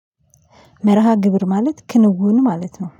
መርሃግብር ማለት ክንውን ማለት ነው